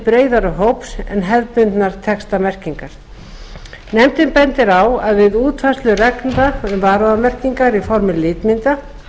breiðari hóps en hefðbundnar textamerkingar nefndin bendir á að við útfærslu reglna um varúðarmerkingar í formi litmynda